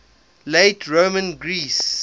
late roman greece